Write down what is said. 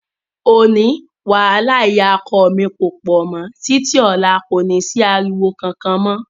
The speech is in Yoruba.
Òní, wàhálà ìyá ọkọ mi kò pọ̀ mọ́, títí ọ̀la kò ní sí ariwo kankan mọ́.